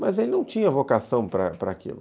Mas ele não tinha vocação para para aquilo.